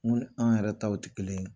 Mun ni an yɛrɛ taw tɛ kelen ye.